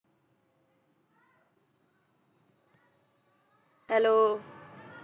Hello